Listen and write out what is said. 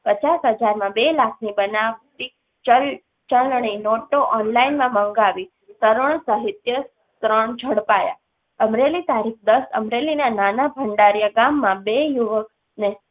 પચાસ હજાર માં બે લાખ ની બનાવટી ચલણી નોટો online મંગાવી ત્રણ ઝડપાયા અમરેલી ના નાના ભંડારિયા ગામ ના બે યુવક